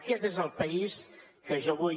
aquest és el país que jo vull